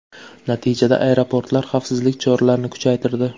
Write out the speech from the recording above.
Natijada aeroportlar xavfsizlik choralarini kuchaytirdi.